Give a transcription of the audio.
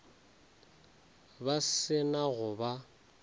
ba se na go ba